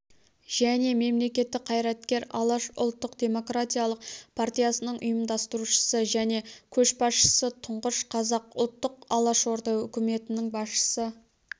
және мемлекеттік қайраткер алаш ұлттық-демократиялық партиясының ұйымдастырушысы және көшбасшысы тұңғыш қазақ ұлттық алашорда үкіметінің басшысы